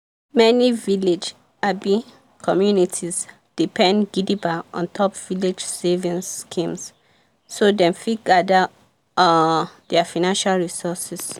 many village abi communities depend gidigba ontop village savings schemes so dem fit gather um their financial resources.